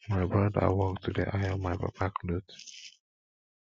na my broda work to dey iron my papa cloth